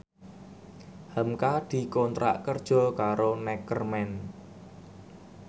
hamka dikontrak kerja karo Neckerman